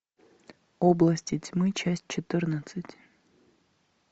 области тьмы часть четырнадцать